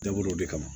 Dabɔ o de kama